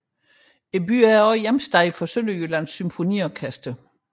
Byen er endvidere hjemsted for Sønderjyllands Symfoniorkester